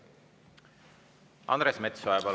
Andres Metsoja, palun!